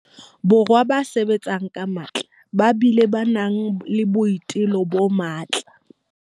Borwa ba sebetsang ka matla ba bileng ba nang le boitelo bo matla.